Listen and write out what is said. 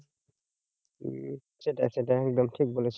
হম সেটাই সেটাই একদম ঠিক বলেছো।